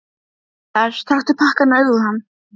Enginn vissi neitt með vissu um uppruna hans og lífsferil.